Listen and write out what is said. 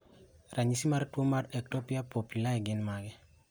Ranyisi mag tuo mar Ectopia pupillae gin mage?